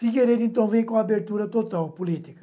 Figueiredo, então, veio com abertura total política.